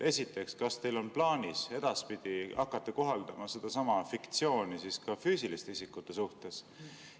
Esiteks, kas teil on plaanis edaspidi hakata kohaldama sedasama fiktsiooni ka füüsiliste isikute korral?